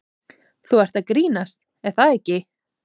Þú ert að grínast er það ekki?